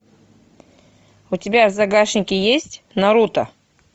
у тебя в загашнике есть наруто